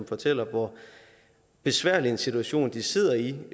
fortæller hvor besværlig en situation de sidder i